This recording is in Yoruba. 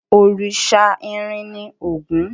Òrìṣà irin ni Ògún.